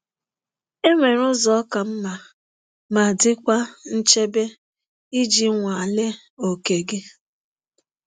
Enwere ụzọ ka mma ma dịkwa nchebe iji nwalee oke gị.